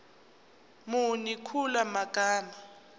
muni kula magama